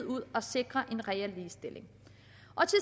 ud og sikrer en reel ligestilling